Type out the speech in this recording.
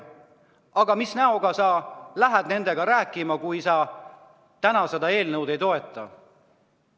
Aga mis näoga sa lähed nendega rääkima, kui sa täna seda eelnõu ei toeta?